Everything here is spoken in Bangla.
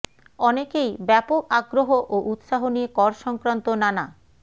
অনেকেই ব্যাপক আগ্রহ ও উৎসাহ নিয়ে কর সংক্রান্ত নানা